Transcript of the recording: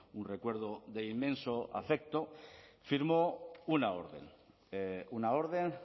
un recuerdo de inmenso afecto firmó una orden una orden